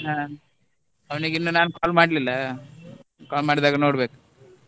ಹಾ ಅವನಿಗೆ ಇನ್ನು ನಾನು call ಮಾಡ್ಲಿಲ್ಲ call ಮಾಡಿದಾಗ ನೋಡ್ಬೇಕು.